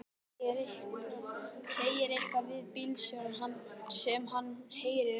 Segir eitthvað við bílstjórann sem hann heyrir ekki.